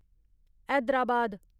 Hyderabad